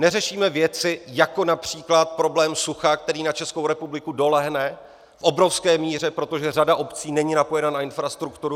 Neřešíme věci, jako například problém sucha, který na Českou republiku dolehne v obrovské míře, protože řada obcí není napojena na infrastrukturu.